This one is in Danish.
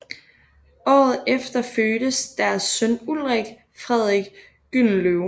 Året efter fødtes deres søn Ulrik Frederik Gyldenløve